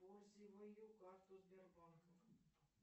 карту сбербанка